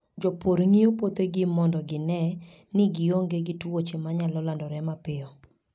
Jopur ng'iyo puothegi mondo gine ni gionge gi tuoche manyalo landore mapiyo.